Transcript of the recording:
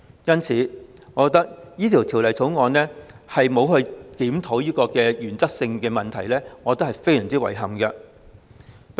因此，對於《條例草案》並沒有檢討這個原則性問題，我認為相當遺憾。